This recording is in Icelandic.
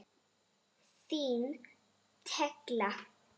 Þín Tekla.